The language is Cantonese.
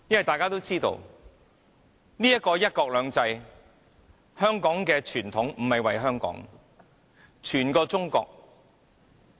大家也知道，"一國兩制"這個香港的傳統，為的不是香港，而是整個中國。